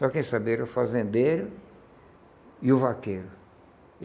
Só quem sabia era o fazendeiro e o vaqueiro.